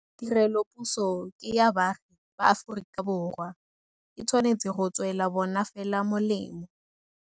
Tirelopuso ke ya baagi ba Aforika Borwa. E tshwanetse go tswela bona fela molemo.